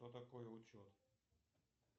что такое учет